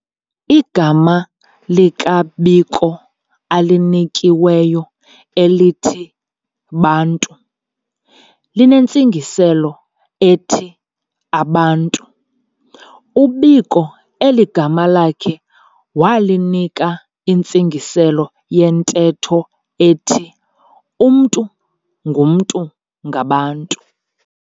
Igama likaBiko alinikiweyo elithi 'Bantu', linentsingiselo ethi, "Abantu".UBiko elingama lakhe walinika intsingiselo yentetho ethi, "umntu ngumntu ngabantu".